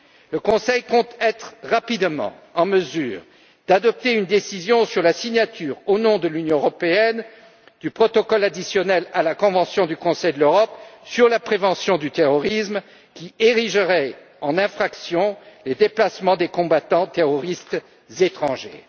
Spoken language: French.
Le Conseil compte être rapidement en mesure d'adopter une décision sur la signature, au nom de l'Union européenne du protocole additionnel à la convention du Conseil de l'Europe sur la prévention du terrorisme, qui érigerait en infraction les déplacements des combattants terroristes étrangers.